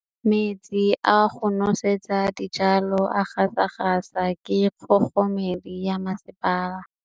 Metsi a go nosetsa dijalo a gasa gasa ke kgogomedi ya masepala.